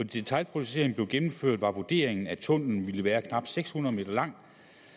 detailprojekteringen blev gennemført var vurderingen at tunnellen ville være knap seks hundrede m lang